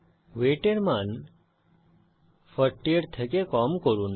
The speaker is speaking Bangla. ওয়েট এর মান 40 এর কম করুন